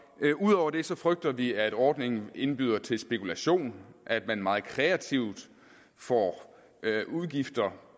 det ud over det frygter vi at ordningen indbyder til spekulation at man meget kreativt får udgifter